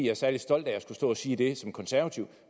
er særlig stolt af at skulle stå at sige det som konservativ